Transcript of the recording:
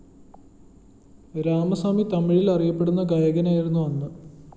രാമസ്വാമി തമിഴില്‍ അറിയപ്പെടുന്ന ഗായകനായിരുന്നു അന്ന്